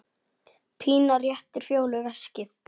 Pína réttir Fjólu veskið.